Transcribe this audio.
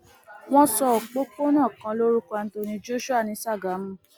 wọn sọ òpópónà kan lórúkọ anthony joshua ní sàgámù